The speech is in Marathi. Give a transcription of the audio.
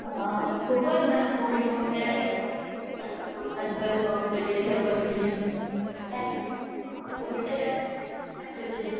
आह खूपच न कोविड मधे लोकांच जॉब वैगेरे सुटलेले